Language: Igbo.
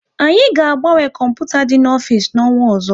Anyị ga agbanwe kọmputa dị n'ofisi na-onwa ọzọ